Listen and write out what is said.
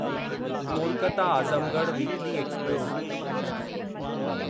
Kolkata Azamgarh weekly express